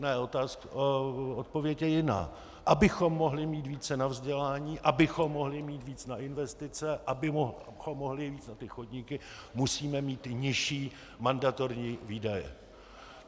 Ne, odpověď je jiná - abychom mohli mít více na vzdělání, abychom mohli mít víc na investice, abychom mohli mít víc na ty chodníky, musíme mít nižší mandatorní výdaje.